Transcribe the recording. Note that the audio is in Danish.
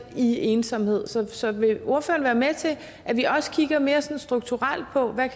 i ensomhed så vil ordføreren være med til at vi også kigger mere sådan strukturelt på hvad